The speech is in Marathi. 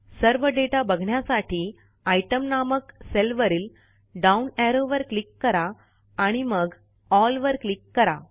सर्व दाता बघण्यासाठी आयटीईएम नामक सेलवरील डाउन एरो वर क्लिक करा आणि मग एल वर क्लिक करा